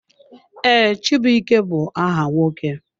Ee, chibuike bụ aha nwoke.